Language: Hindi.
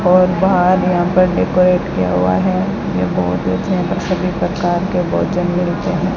और बाहर यहां पर डेकोरेट किया हुआ है ये बहुत अच्छा है सभी प्रकार के भोजन भी रखे हैं।